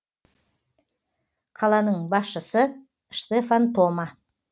қаланың басшысы штефан тома